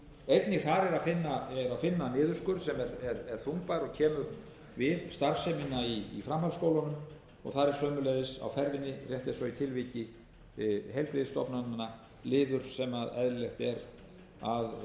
er þungbær og kemur við starfsemina í framhaldsskólanum og þar er sömuleiðis á ferðinni rétt eins og í tilviki heilbrigðisstofnananna liður sem eðlilegt er að